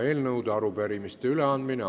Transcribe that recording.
Eelnõude ja arupärimiste üleandmine.